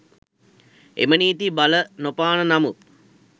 එම නීති බලනොපාන නමුත්